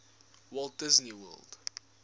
walt disney world